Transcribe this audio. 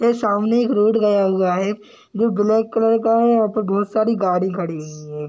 तो सामने एक रोड गया हुआ है जो ब्लैक कलर का है | यहाँ पे बहुत सारी गाड़ी खड़ी हुई है ।